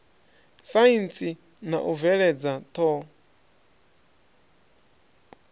saintsi na u bveledza ṱho